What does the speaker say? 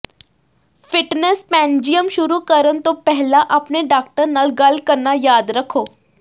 fitness ਪੈਨਜੀਅਮ ਸ਼ੁਰੂ ਕਰਨ ਤੋਂ ਪਹਿਲਾਂ ਆਪਣੇ ਡਾਕਟਰ ਨਾਲ ਗੱਲ ਕਰਨਾ ਯਾਦ ਰੱਖੋ